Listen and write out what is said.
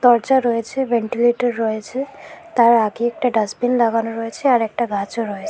দরজা রয়েছে ভেন্টিলেটর রয়েছে তার আগে একটা ডাস্টবিন লাগানো রয়েছে আর একটা গাছও রয়ে--